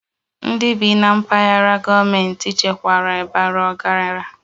Ndị bi na mpaghara gọọmentị echekwara bara ọgaranya